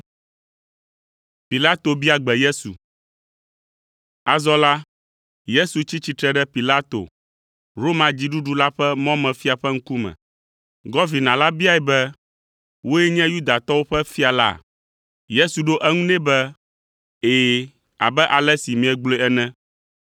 Azɔ la, Yesu tsi tsitre ɖe Pilato, Roma dziɖuɖu la ƒe mɔmefia ƒe ŋkume. Gɔvina la biae be, “Wòe nye Yudatɔwo ƒe fia la?” Yesu ɖo eŋu nɛ be, “Ɛ̃, abe ale si miegblɔe ene.”